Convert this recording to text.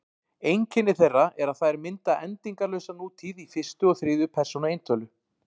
Einkenni þeirra er að þær mynda endingarlausa nútíð í fyrstu og þriðju persónu eintölu.